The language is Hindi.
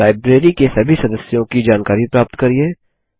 लाइब्रेरी के सभी सदस्यों की जानकारी प्राप्त करिये 2